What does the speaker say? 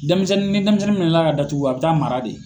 Denmisɛnnin ni denmisɛnnin minɛ na ka datugu, a bi taa mara de.